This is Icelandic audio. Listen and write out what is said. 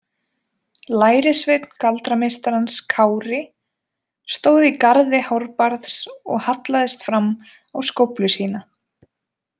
Lærisveinn galdrameistarans Kári stóð í garði Hárbarðs og hallaðist fram á skóflu sína.